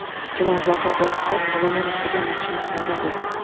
Chilonzorda bir qiz olomon ustiga mashina haydadi.